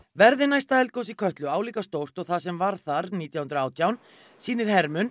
verði næsta eldgos í Kötlu álíka stórt og það sem varð þar nítján hundruð og átján sýnir